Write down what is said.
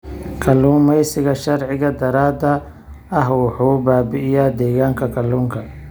Kalluumeysiga sharci darrada ah wuxuu baabi'iyaa deegaanka kalluunka.